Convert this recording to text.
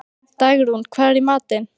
Dagrún, hvað er í matinn?